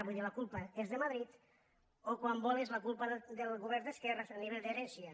vull dir la culpa és de madrid o quan vol la culpa és del govern d’esquerres a nivell d’herència